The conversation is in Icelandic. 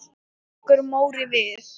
Tekur Móri við?